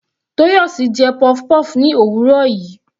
Toyosi jẹ puff-puff ní òwúrọ̀ yìí.